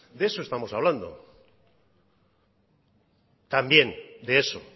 de eso estamos hablando también de eso